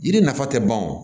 Yiri nafa tɛ ban o